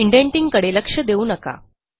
indenting कडे लक्ष देऊ नका